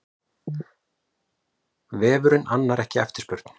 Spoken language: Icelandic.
Vefurinn annar ekki eftirspurn